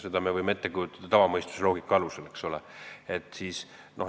Seda me võime tavaloogika alusel ette kujutada, eks ole.